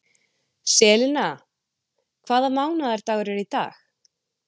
Selina, hvaða mánaðardagur er í dag?